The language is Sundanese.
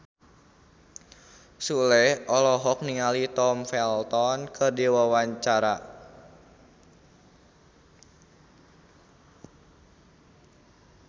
Sule olohok ningali Tom Felton keur diwawancara